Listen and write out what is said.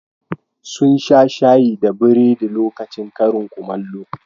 Sun sha shayi da burodi lokacin karin kumallo.